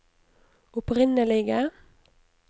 opprinnelige